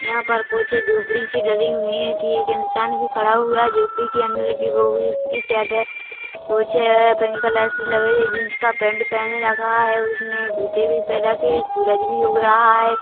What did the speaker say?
यहाँ पर कुछ झोपड़ी सी डली हुई है कि एक इंसान भी खड़ा हुआ है झोपड़ी के अंदर लगी वोभी उसकी शेड है कुछअअअ पिंक कलर सी लग रही है जींस का पैंट पहने रखा है उसने गुते भी पहर रखे सूरज भी उग रहा है।